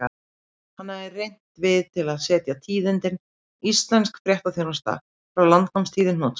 Hann hafði rennt við til að segja tíðindin: Íslensk fréttaþjónusta frá landnámstíð í hnotskurn.